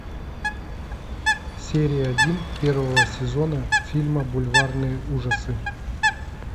серия один первого сезона фильма бульварные ужасы